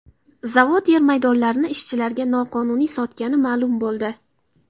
Zavod yer maydonlarini ishchilariga noqonuniy sotgani ma’lum bo‘ldi.